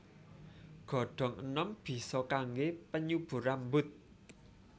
Godhong enom bisa kangge penyubur rambut